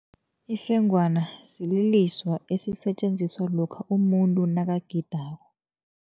Ifengwana sililiswa esisetjenziswa lokha umuntu nakagidako.